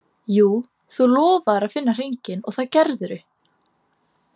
Jú, þú lofaðir að finna hringinn og það gerðirðu.